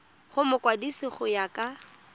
go mokwadise go ya ka